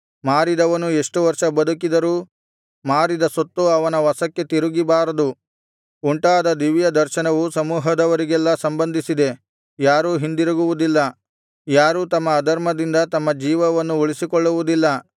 ಮಾರಿದವನು ಎಷ್ಟು ವರ್ಷ ಬದುಕಿದರೂ ಮಾರಿದ ಸೊತ್ತು ಅವನ ವಶಕ್ಕೆ ತಿರುಗಿಬಾರದು ಉಂಟಾದ ದಿವ್ಯದರ್ಶನವು ಸಮೂಹದವರಿಗೆಲ್ಲಾ ಸಂಬಂಧಿಸಿದೆ ಯಾರೂ ಹಿಂದಿರುಗುವುದಿಲ್ಲ ಯಾರೂ ತಮ್ಮ ಅಧರ್ಮದಿಂದ ತಮ್ಮ ಜೀವವನ್ನು ಉಳಿಸಿಕೊಳ್ಳುವುದಿಲ್ಲ